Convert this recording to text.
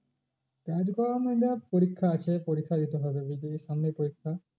কাজ পরিক্ষা আছে পরিক্ষা দিতে হবে বুঝতে পেরেছিস, সামনেই পরিক্ষা